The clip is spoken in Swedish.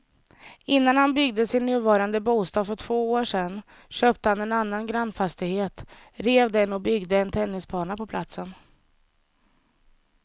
Innan han byggde sin nuvarande bostad för två år sedan köpte han en annan grannfastighet, rev den och byggde en tennisbana på platsen.